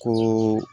Ko